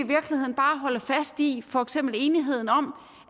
holde fast i for eksempel enigheden om